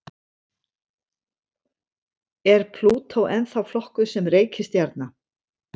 Er Plútó ennþá flokkuð sem reikistjarna?